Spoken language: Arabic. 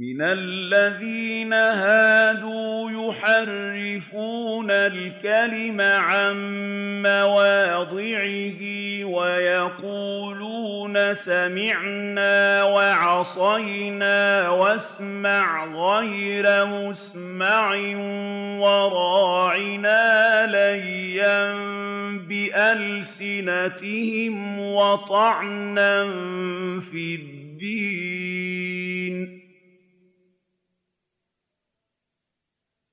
مِّنَ الَّذِينَ هَادُوا يُحَرِّفُونَ الْكَلِمَ عَن مَّوَاضِعِهِ وَيَقُولُونَ سَمِعْنَا وَعَصَيْنَا وَاسْمَعْ غَيْرَ مُسْمَعٍ وَرَاعِنَا لَيًّا بِأَلْسِنَتِهِمْ وَطَعْنًا فِي الدِّينِ ۚ